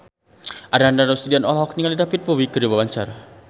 Ananda Rusdiana olohok ningali David Bowie keur diwawancara